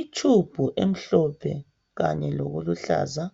Itshumbu emhlophe kanye lokuluhlaza